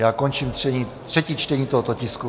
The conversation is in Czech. Já končím třetí čtení tohoto tisku.